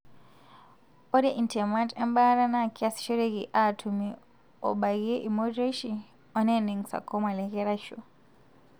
ore intemat embaata na kiasishoreki atumie obakie ilmorioshi oneneng sarcoma lekeraisho.